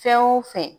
Fɛn o fɛn